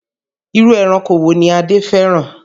Irú ẹranko wo ni Adé fẹ́ràn?